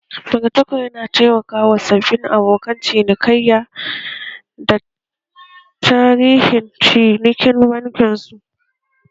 Magatakarda yana taimaka wa sababbin abokan cinikayya da tarihin cinikin bankin su